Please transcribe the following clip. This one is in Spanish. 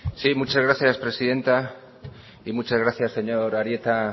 sí muchas gracias presidenta y muchas gracias señor arieta